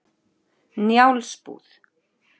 Njálsbúð